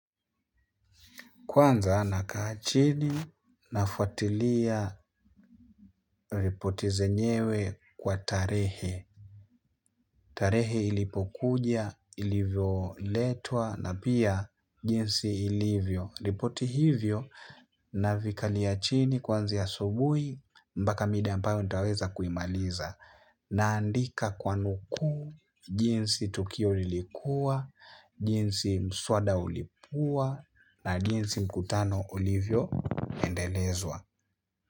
Kwanza nakaa chini nafuatilia ripoti zenyewe kwa tarehe. Tarehe ilipokuja, ilivyo letwa na pia jinsi ilivyo. Ripoti hivyo na vikalia chini kuanzia asubuhi mbaka mida ambayo nitaweza kuimaliza. Naandika kwa nukuu jinsi tukio lilikuwa, jinsi mswada ulipua na jinsi mkutano ulivyo endelezwa.